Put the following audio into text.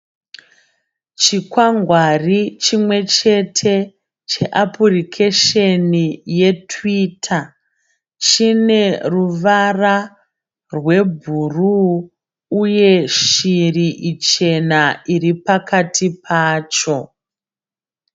Chikwangwari chimwechete cheapurikesheni yeTwitter. Chine ruvara rwebhuruu uye shiri ichena iri pakati pacho.